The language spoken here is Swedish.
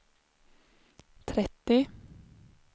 trettio